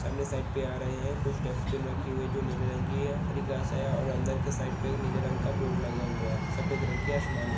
सामने साइड पे आ रहे है कुछ डस्टबिन रखी हुई है जो नीले रंग की है हरी घास है और अंदर के साइड पे नीले रंग का बोर्ड लगा हुआ है सफ़ेद रंग की आश्मानी --